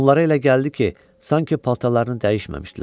Onlara elə gəldi ki, sanki paltarlarını dəyişməmişdilər.